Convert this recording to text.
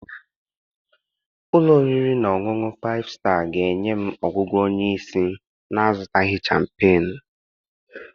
Ụlọ oriri na ọṅụṅụ Faịfụ Staa ga-enye m ọgwụgwọ onye isi na-azụtaghị champenuu?